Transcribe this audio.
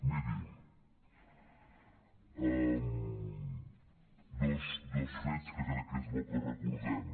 miri dos fets que crec que és bo que recordem